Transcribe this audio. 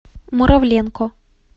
муравленко